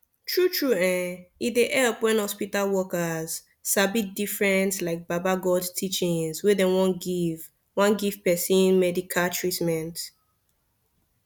tru tru[um]e dey epp wen hospita workers sabi different like baba godey teachings wen dem wan giv wan giv pesin medica treatment